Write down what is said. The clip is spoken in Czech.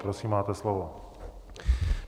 Prosím, máte slovo.